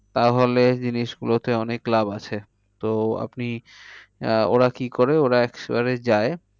তাহলে জিনিস গুলোতে অনেক লাভ আছে। তো আপনি আহ ওরা কি করে ওরা যায়